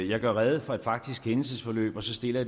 jeg gør rede for et faktisk hændelsesforløb og så stiller